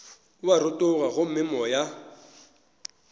o a rotoga gomme moya